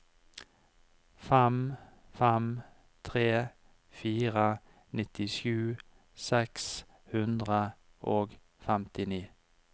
fem fem tre fire nittisju seks hundre og femtini